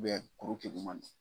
kuru keguman di